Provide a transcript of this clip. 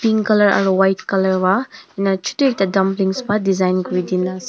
Pink colour aro white colour pa ena chutu ekta dumplings pa design kuri dina ase.